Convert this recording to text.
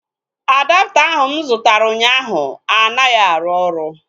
Adapta ahu mụ zụtara ụnyaahụ anaghị arụ ọrụ